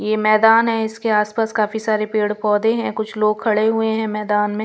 ये मैदान है इसके आसपास काफी सारे पेड़-पौधे हैं कुछ लोग खड़े हुए हैं मैदान में--